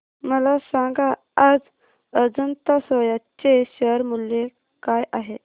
मला सांगा आज अजंता सोया चे शेअर मूल्य काय आहे